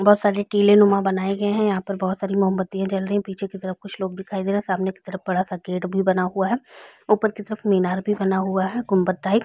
बहोत सारे टीलेनुमा बनाए गए है यहाँ पर बहोत सारी मोमबत्तिया जल रही है पीछे की तरफ कुछ लोग दिखाई दे रहे है सामने की तरफ बड़ा-सा गेट भी बना हुआ है ऊपर की तरफ मीनार भी बना हुआ है गुम्बद टाइप --